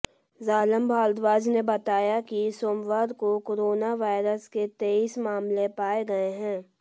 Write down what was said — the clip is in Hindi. जालम भारद्वाज ने बताया कि सोमवार को कोरोना वायरस के तेईस मामले पाए गए हैं